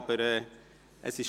Es ist aber gut so.